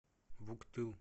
вуктыл